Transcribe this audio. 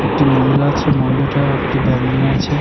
একটি মহিলা আছে মহিলাটা একটি ব্যাগ নিয়ে আছে।